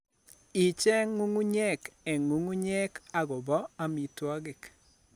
Icheeng' ng'ung'unyek eng' ng'ung'unyek agobo amitwogik.